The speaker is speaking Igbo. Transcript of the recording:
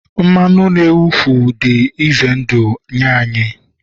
mmanụ na-awụfu dị ize ndụ nye anyị